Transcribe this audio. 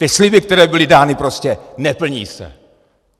Ty sliby, které byly dány, prostě neplní se.